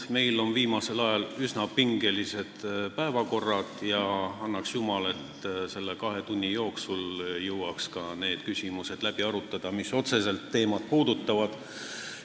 Meil on viimasel ajal üsna pingelised päevakorrad ja annaks jumal, et me selle kahe tunni jooksul jõuaks need küsimused läbi arutada, mis otseselt teemat puudutavad.